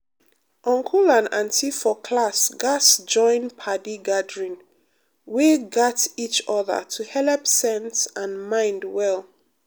uncle and auntie for class gatz join padi gathering wey gat each other to helep sense and mind well.